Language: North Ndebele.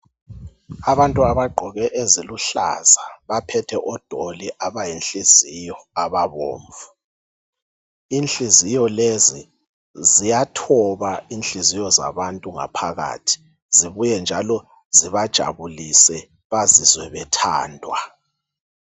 Abantu abagqoke eziluhlaza baphethe odoli abayinhliziyo ababomvu. Inhliziyo lezi ziyathoba inhliziyo zabantu ngaphakathi zibuye njalo zibajabulise bazizwe bethandwa.